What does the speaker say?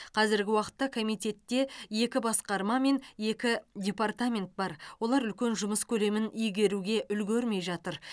қазіргі уақытта комитетте екі басқарма мен екі департамент бар олар үлкен жұмыс көлемін игеруге үлгермей жатыр